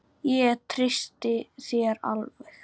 Ég treysti þér alveg!